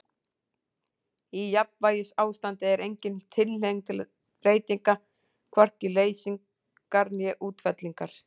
Í jafnvægisástandi er engin tilhneiging til breytinga, hvorki til leysingar né útfellingar.